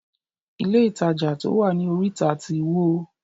Ilé ìtajà to wá ní orita tí wó.